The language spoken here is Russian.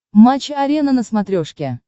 матч арена на смотрешке